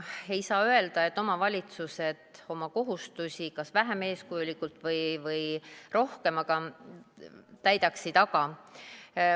Ma ei saa öelda, et omavalitsused oma kohustusi kas vähem või rohkem eeskujulikult täidaksid.